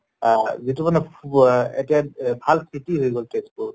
আহ যিটো মানে এতিয়া এহ ভাল city হৈ গʼল তেজ্পুৰ